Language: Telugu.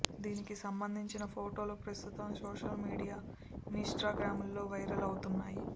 దీనికి సంబంధించిన ఫొటోలు ప్రస్తుతం సోషల్ మీడియా ఇన్స్టా గ్రామ్లో వైరల్ అవుతున్నాయి